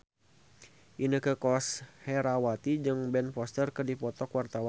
Inneke Koesherawati jeung Ben Foster keur dipoto ku wartawan